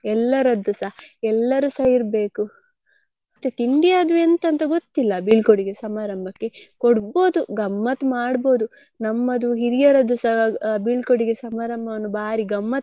ಎಲ್ಲರದ್ದುಸ ಎಲ್ಲರುಸಾ ಇರ್ಬೇಕು ಮತ್ತೆ ತಿಂಡಿ ಅದು ಎಂತ ಅಂತ ಗೊತ್ತಿಲ್ಲ ಬೀಳ್ಕೊಡುಗೆ ಸಮಾರಂಭಕ್ಕೆ ಕೊಡ್ಬೋದು ಗಮ್ಮತ್ತ್ ಮಾಡ್ಬೋದು ನಮ್ಮದು ಹಿರಿಯರದ್ದುಸ ಬೀಳ್ಕೊಡುಗೆ ಸಮಾರಂಭವನ್ನು ಭಾರಿ ಗಮ್ಮತ್ತ್.